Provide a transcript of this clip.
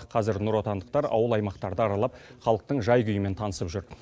қазір нұротандықтар ауыл аймақтарды аралап халықтың жай күйімен танысып жүр